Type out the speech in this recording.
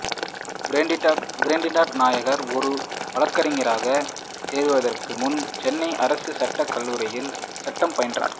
கிருட்டிணன் நாயர் ஒரு வழக்கறிஞராக சேருவதற்கு முன்பு சென்னை அரசு சட்டக் கல்லூரியில் சட்டம் பயின்றார்